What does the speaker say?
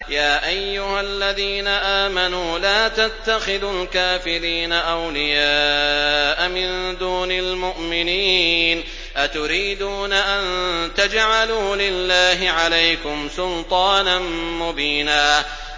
يَا أَيُّهَا الَّذِينَ آمَنُوا لَا تَتَّخِذُوا الْكَافِرِينَ أَوْلِيَاءَ مِن دُونِ الْمُؤْمِنِينَ ۚ أَتُرِيدُونَ أَن تَجْعَلُوا لِلَّهِ عَلَيْكُمْ سُلْطَانًا مُّبِينًا